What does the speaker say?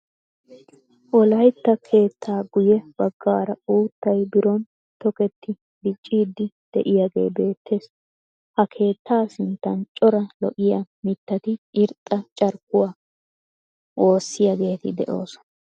Wollaytta keettaa guyye baggaara uuttay biron tokketti dicciidi de'iyaagee beettees. ha keettaa sinttan cora lo"iyaa mittati irxxa carkkuwaa woosiyaageeti de'oosona.